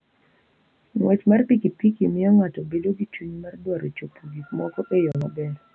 Ng'wech mar pikipiki miyo ng'ato bedo gi chuny mar dwaro chopo gik moko e yo maber.